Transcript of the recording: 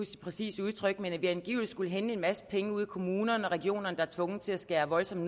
det præcise udtryk men at vi angiveligt skulle hente en masse penge ude i kommunerne og regionerne der er tvunget til at skære voldsomt